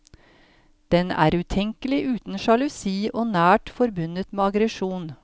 Den er utenkelig uten sjalusi og nært forbundet med aggresjon.